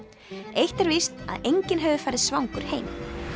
eitt er víst að enginn hefur farið svangur heim